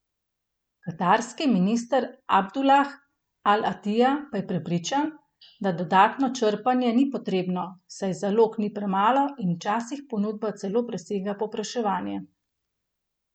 Katarski minister Abdulah al Atija pa je prepričan, da dodatno črpanje ni potrebno, saj zalog ni premalo in včasih ponudba celo presega povpraševanje.